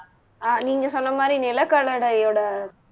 அஹ் நீங்க சொன்ன மாதிரி நிலக்கடலையோட